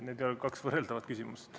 Need ei ole kaks võrreldavat küsimust.